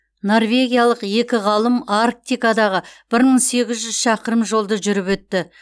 норвегиялық екі ғалым арктикадағы бір мың сегіз жүз шақырым жолды жүріп өтті